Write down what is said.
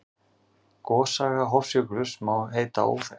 Gossaga Hofsjökuls má heita óþekkt.